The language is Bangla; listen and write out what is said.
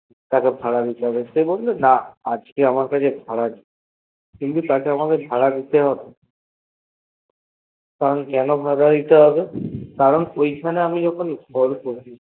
তাকে ভাড়া দিতে হবে সে বলল না আজকে আমার কাছে ভাড়া নেই কিন্তু তাকে আমাক ভাড়া দিতে হবে কেন ভাড়া দিতে হবে কারণ ঐখানে আমি যখন ঘর করেছি